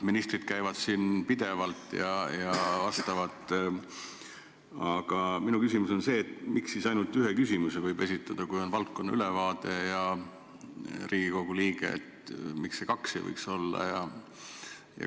Ministrid käivad siin pidevalt meile vastamas, aga minu küsimus on see, et miks võib Riigikogu liige esitada ainult ühe küsimuse, kui on valdkonna ülevaade, miks ei võiks olla näiteks kaks küsimust.